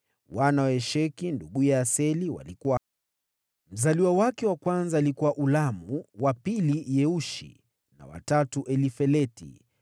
Wana wa Esheki, nduguye Aseli, walikuwa: Mzaliwa wake wa kwanza alikuwa Ulamu, wa pili Yeushi na wa tatu Elifeleti.